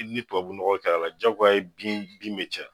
Ni ye tubunɔgɔ kɛ a la jagoya ye bin bin be caya